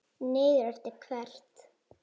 Niður eftir hvert?